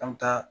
An bɛ taa